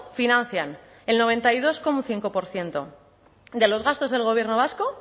financian el noventa y dos coma cinco por ciento de los gastos del gobierno vasco